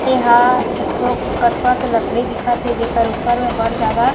एहा एक ठो कठवा के लकड़ी दिखत हे जेकर ऊपर में बड़ ज्यादा --